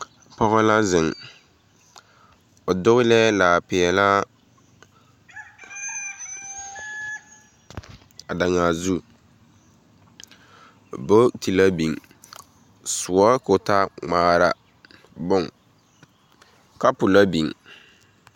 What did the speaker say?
Pͻge la zeŋe, o dogelԑԑ laa peԑlaa, a daŋaa zu bogiti la biŋ, sõͻ koo taa ŋmaara bon, kapo la biŋ.